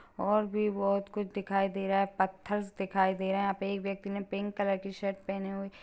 और भी बोहोत कुछ दिखाई दे रहा है। पत्थर्स दिखाई दे रहा है। एक व्यक्ति ने पिंक कलर की शर्ट पहने हुए--